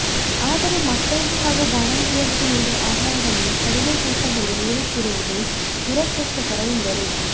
ಅದರೆ ಮಕ್ಕಳಿಗೆ ಹಾಗೂ ಬಾಣಂತಿಯರಿಗೆ ನೀಡುವ ಆಹಾರವನ್ನು ಕಡಿಮೆ ತೂಕದಲ್ಲಿ ನೀಡುತ್ತಿರುವುದು ದುರದೃಷ್ಟಕರ ಎಂದರು